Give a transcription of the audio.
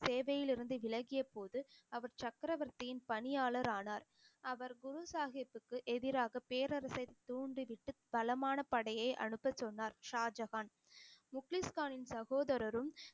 சேவையில் இருந்து விலகிய போது அவர் சக்கரவர்த்தியின் பணியாளர் ஆனார் அவர் குரு சாஹிபிக்கு எதிராக பேரரசை தூண்டிவிட்டு பலமான படையை அனுப்பச் சொன்னார் ஷாஜகான் முக்லீஸ் கானின் சகோதரரும்